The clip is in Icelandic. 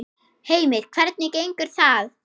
Heimir: Hvernig gengur það?